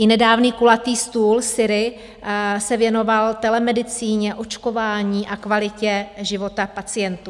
I nedávný kulatý stůl SYRI se věnoval telemedicíně, očkování a kvalitě života pacientů.